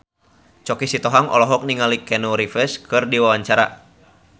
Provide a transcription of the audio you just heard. Choky Sitohang olohok ningali Keanu Reeves keur diwawancara